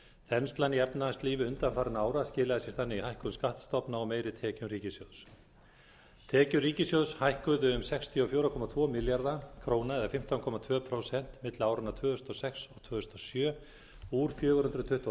þenslan í efnahagslífi undanfarinna ára skilaði sér þannig í hækkun skattstofna og meiri tekjum ríkissjóðs tekjur ríkissjóðs hækkuðu um sextíu og fjögur komma tvo milljarða króna milli áranna tvö þúsund og sex og tvö þúsund og sjö úr fjögur hundruð tuttugu og